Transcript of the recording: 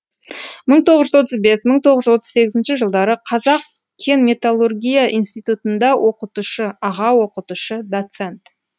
мың тоғыз жүз отыз бес мың тоғыз жүз отыз сегізінші жылдары қазақ кен металлургия институтында оқытушы аға оқытушы доцент